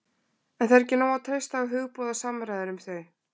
En það er ekki nóg að treysta á hugboð og samræður um þau.